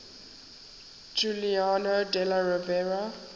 giuliano della rovere